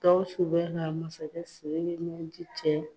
Gawsu bɛ na masakɛ siriki ɲɛ ji cɛ.